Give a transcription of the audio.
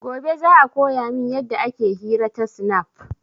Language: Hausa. Gobe za a koya min yadda ake hira ta snap